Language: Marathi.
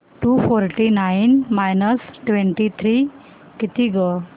to forty nine minus twenty three किती गं